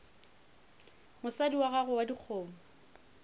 mosadi wa gago wa dikgomo